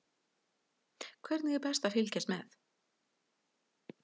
Hvernig er best að fylgjast með?